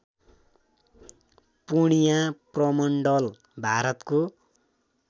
पूर्णिया प्रमण्डल भारतको